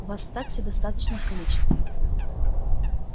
у вас так всё в достаточном количестве